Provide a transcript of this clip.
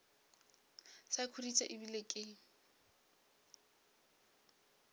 sa khuditše e bile ke